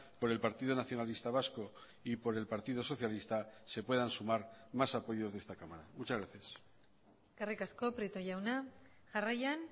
por el partido nacionalista vasco y por el partido socialista se puedan sumar más apoyos de esta cámara muchas gracias eskerrik asko prieto jauna jarraian